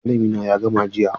Alƙalami na ya gama jiya.